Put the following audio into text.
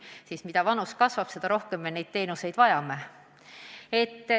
Ja mida enam keskmine vanus kasvab, seda rohkem me neid teenuseid vajame.